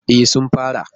E, sun fara.